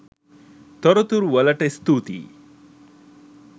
තොරතුරු වලට ස්තුතියි